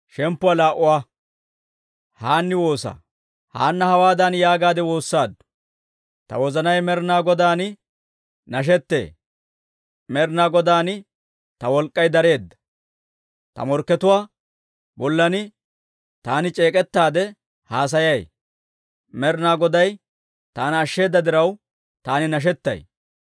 Haanna hawaadan yaagaadde woossaaddu; «Ta wozanay Med'inaa Godaan nashettee; Med'inaa Godaan ta wolk'k'ay dareedda. Ta morkkatuwaa bollan taani c'eek'k'ettaade haasayay; Med'inaa Goday taana ashsheeda diraw, taani nashettay.